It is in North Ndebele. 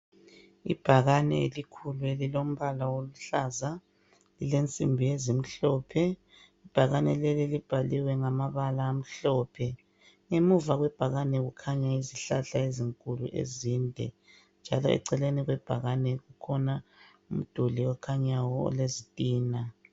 Ibhakani elikhulu lilombala uluhlaza lilensimbi ezimhlophe ibhakani leli libhaliwe ngamabala amhlophe ngemuva kwebhakani kukhanya izihlahla ezinkulu ezinde njalo eceleni kwebhakani kukhona umduli okhanya olezitina